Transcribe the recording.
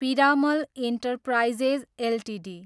Piramal enterprises Ltd